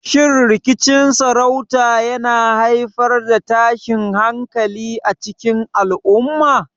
Shin rikicin sarauta yana haifar da tashin hankali a cikin al'umma?